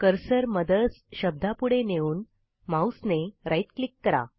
cursor mothers शब्दापुढे नेऊन माऊसने राइट क्लिक करा